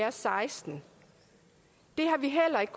og seksten det har vi heller ikke